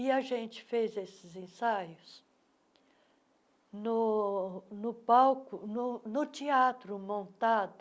E a gente fez esses ensaios no no palco, no no teatro montado,